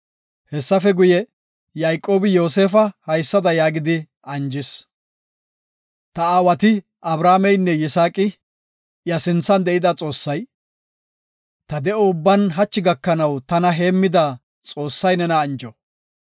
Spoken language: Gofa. Hessafe guye, Yayqoobi Yoosefa haysada yaagidi anjis; “Ta aawati Abrahaameynne Yisaaqi, iya sinthan de7ida Xoossay, ta de7o ubban hachi gakanaw tana heemmida Xoossay nena anjo.